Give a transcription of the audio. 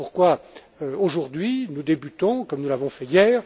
Voilà pourquoi, aujourd'hui, nous débutons, comme nous l'avons fait hier.